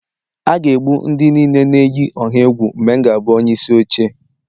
A ga-egbu ndị niile na-eyi ọha egwu mgbe m ga-abụ onyeisi oche